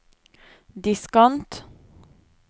diskant